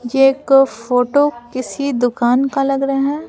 ये एक फोटो किसी दुकान का लग रहा है।